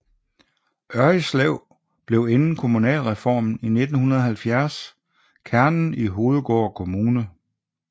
Ørridslev blev inden kommunalreformen i 1970 kernen i Hovedgård Kommune